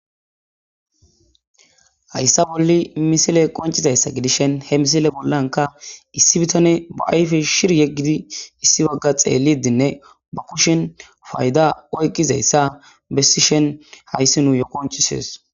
hayssa bolli misile qoncizayssa gidishen he misile bollanka issi bitane ba ayfe shir yeggidi issi bagga xeellidinne ba kushen fayda oyqqizayssa bessishen hayssi nuu yo qonchisees